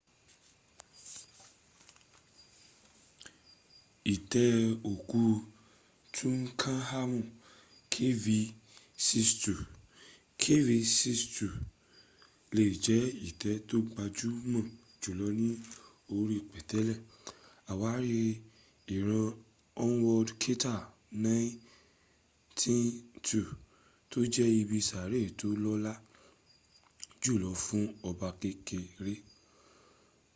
itẹ́ òkú tutankhamun kv62. kv62 lè jẹ́ itẹ́ tó gbajúmọ̀ jùlọ ní orí pẹ̀tẹ́lẹ̀ àwárí ìran howard carter's 192 tó jẹ́ ibi sàárè tó lọ́lá jùlọ fún ọba kékeré